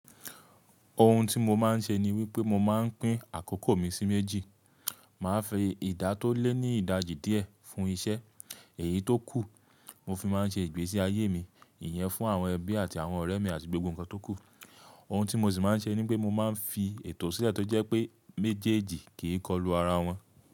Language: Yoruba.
Ohun tí mo máa ń ṣe ni wípé mo máa ń pín àkókò mi sí méjì. Máa fi ìdá tó lé ní ìdájí díẹ̀ fún iṣẹ́, èyí tó kù mo fi máa ń ṣe ìgbésí ayé mi, ìyẹn fún àwọn ẹbí àti àwọn ọ̀rẹ́ mi àti gbogbo nǹkan tó kù. Ohun tí mo sì máa ń ṣe ni wípé mo máa ń fi ètò sílẹ̀ tó jẹ́ pé méjèèjì kì í kọlu ara wọn.